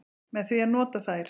Með því að nota þær.